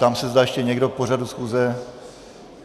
Ptám se, zda ještě někdo k pořadu schůze.